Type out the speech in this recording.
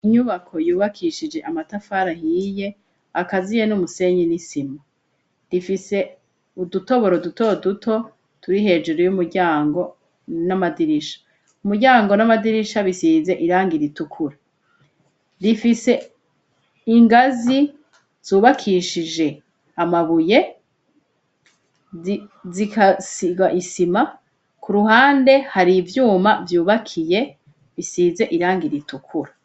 Inyubako yubakishije amatafara ahiye akaziye n'umusenyi n'isima rifise udutoboro duto duto turi hejuru y'umuryango n'amadirisha umuryango n'amadirisha bisize iranga iritukura rifise ingazi zubakishijema abuye zikasiga isima ku ruhande hari ivyuma vyubakiye bisize iranga iritukura.